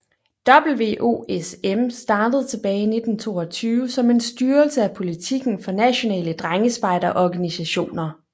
WOSM startede tilbage i 1922 som en styrelse af politikken for nationale drengespejderorganisationer